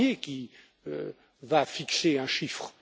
Barnier qui va fixer un chiffre.